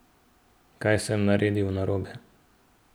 Kaj sem naredil narobe?